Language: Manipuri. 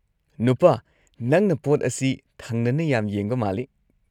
ꯅꯨꯄꯥ, ꯅꯪꯅ ꯄꯣꯠ ꯑꯁꯤ ꯊꯪꯅꯅ ꯌꯥꯝ ꯌꯦꯡꯕ ꯃꯥꯜꯂꯤ꯫